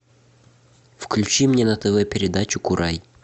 включи мне на тв передачу курай